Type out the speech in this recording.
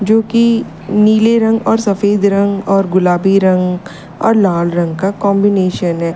जोकि नीले रंग और सफेद रंग और गुलाबी रंग और लाल रंग का कंबीनेशन है।